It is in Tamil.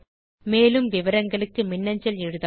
மேலும் அறிய மின்னஞ்சல் எழுதவும்